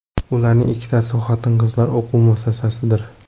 Ularning ikkitasi xotin-qizlar o‘quv muassasasidir.